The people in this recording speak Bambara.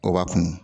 O b'a kun